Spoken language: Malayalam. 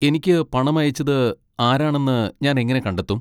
എനിക്ക് പണം അയച്ചത് ആരാണെന്ന് ഞാൻ എങ്ങനെ കണ്ടെത്തും?